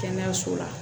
Kɛnɛyaso la